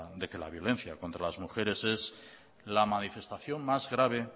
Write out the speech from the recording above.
de que la violencia contra las mujeres es la manifestación más grave